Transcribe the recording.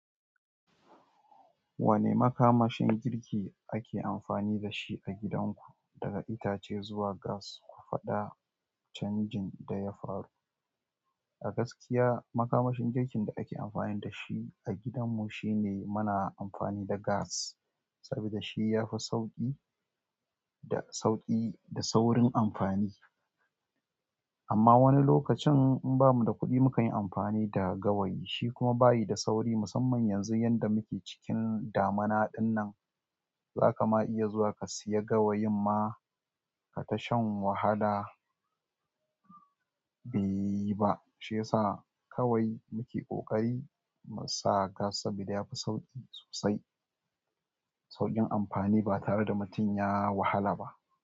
Wane makamashin girki ake amfani da shi a gidanku, daga itace zuwa gas, ku faɗa canjin da ya faru. A gaskiya makamashin girkin da ake amfani da shi a gidanmu shine muna amfani da gas saboda shi ya fi sauƙi da sauƙi da saurin amfani. Amma wani lokacin in bamu da kuɗi mukan yi amfani da gawayi shi kuma bayi da sauri musamman yanzu yadda muke cikin damuna dinnan. Zaka ma iya zuwa ka siya gawayin ma kata shan wahala beyi ba. Shi yasa kawai muke ƙoƙari mu sa gas saboda yafi sauƙi sosai. Sauƙin amfani ba tare da mutum ya wahala ba.